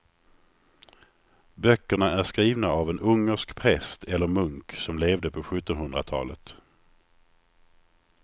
Böckerna är skrivna av en ungersk präst eller munk som levde på sjuttonhundratalet.